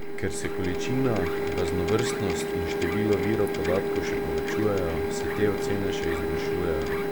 Ker se količina, raznovrstnost in število virov podatkov še povečujejo, se te ocene še izboljšujejo.